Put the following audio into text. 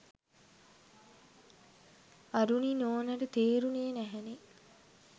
අරුණි නෝනාට තේරුණේ නැහැනෙ.